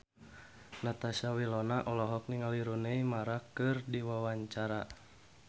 Natasha Wilona olohok ningali Rooney Mara keur diwawancara